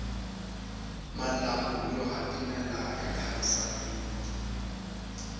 malambhu yo hatimela ya khavisa miti